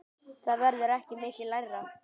Það verður ekki mikið lægra.